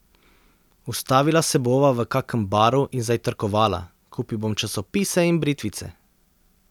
Ustavila se bova v kakem baru in zajtrkovala, kupil bom časopise in britvice.